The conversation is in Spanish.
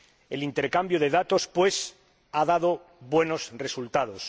El intercambio de datos, pues, ha dado buenos resultados.